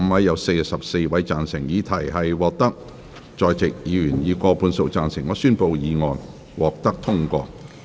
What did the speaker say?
由於議題獲得在席議員以過半數贊成，他於是宣布議案獲得通過。